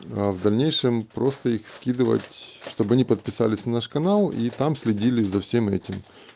в дальнейшем просто их скидывать чтобы они подписались на наш канал и там следили за всем этим